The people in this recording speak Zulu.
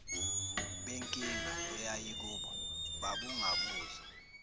benkinga eyayikubo babungabuzwa